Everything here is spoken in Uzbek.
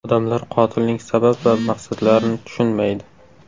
Odamlar qotilning sabab va maqsadlarini tushunmaydi.